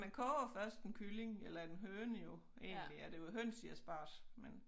Man koger jo først en kylling eller en høne jo egentlig er det jo høns i asparges men